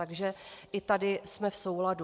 Takže i tady jsme v souladu.